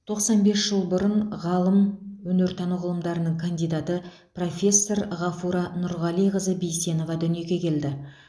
тоқсан бес жыл бұрын ғалым өнертану ғылымдарының кандидаты профессор ғафура нұрғалиқызы бисенова дүниеге келді